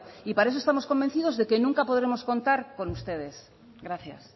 y para eso estamos convencidos de que nunca podremos contar con ustedes gracias